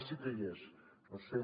ah sí que hi és no ho sé